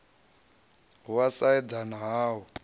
ha u sa eḓana hu